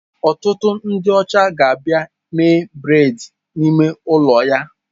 Ọtụtụ ndị ọcha ga-abịa mee braids n'ime ụlọ ya.